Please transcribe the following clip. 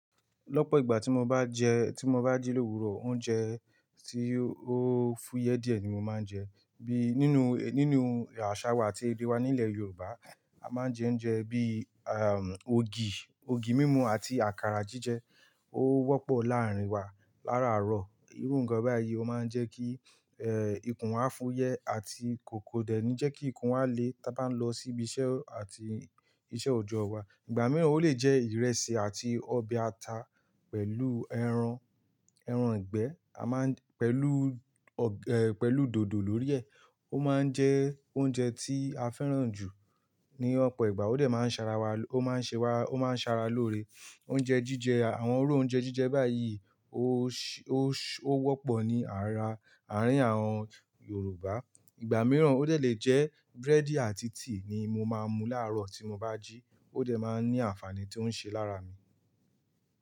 Lọ́pọ̀ ìgbà tí mo bá jẹ, tí mo bá jí lòwúrò, oúnjẹ tí ó fúyẹ́ díẹ̀ ni mo máa ń jẹ. Bí nínú, nínú àṣà wa àti èdè wa nílẹ̀ Yorùbá, a máa ń jẹ oúnjẹ bí, ògì, ògì mímu àti àkàrà jíjẹ. Ó wọ́pọ̀ láàárín wa laraaro. Irú ǹnkan báyìí ó máa ń jẹ́ kí, ikùn wa fúyẹ́ àti kò--kòdẹ̀ nii jẹ́ kí ikùn wa le tí a bá ń lọ síbi iṣẹ́ àti iṣẹ́ òjọ́ wa. Ìgbà mìíràn ó lè jẹ́ ìrẹsì àti ọbẹ̀ ata pẹ̀lú ẹran, ẹran ìgbẹ́. A máa ń-- pẹ̀lú ọ̀, ẹ, pẹ̀lú dòdò lórí ẹ. Ó máa ń jẹ́ oúnjẹ tí a fẹ́ràn jù. Ní ọ̀pọ̀ ìgbà ó dẹ̀ máa ń ṣara wa, ó máa ń ṣe wa, ó máa ń ṣara lóore. Oúnjẹ jíjẹ, àwọn irú oúnjẹ jíjẹ báyìí ó ṣé, ó ṣé, ó wọ́pọ̀ ní ara àárín àwọn Yorùbá. Ìgbà mìíràn ó dẹ̀ lè jẹ́ búrẹ́dì àti tíì ni mo máa mu láárọ̀ tí mo bá jí. Ó dẹ̀ máa ń ní àǹfààní tí ó ń ṣe lára mi.